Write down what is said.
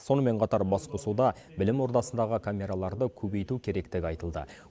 сонымен қатар басқосуда білім ордасындағы камераларды көбейту керектігі айтылды